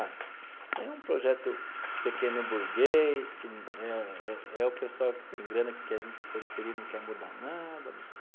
Ah, isso aí é um projeto pequeno burguês que é é é o pessoal que tem grana, que quer vir para a periferia e não quer mudar nada, não sei o quê.